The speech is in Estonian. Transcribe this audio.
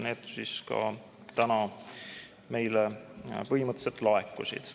Need ka täna meile laekusid.